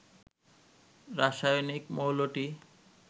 রাসায়নিক মৌলটি